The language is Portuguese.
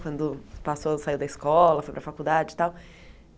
Quando passou, saiu da escola, foi para a faculdade e tal.